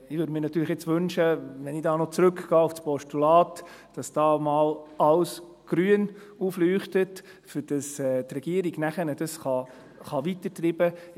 Ich würde mir natürlich wünschen, dass auf der Anzeigetafel alles grün aufleuchtet, wenn ich in ein Postulat wandle, sodass die Regierung dieses Vorhaben vorantreiben kann.